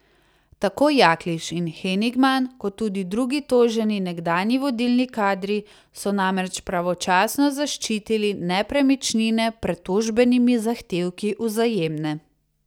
Tako Jaklič in Henigman kot tudi drugi toženi nekdanji vodilni kadri so namreč pravočasno zaščitili nepremičnine pred tožbenimi zahtevki Vzajemne.